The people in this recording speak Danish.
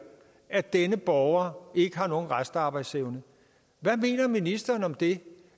at denne borger ikke har nogen restarbejdsevne hvad mener ministeren om det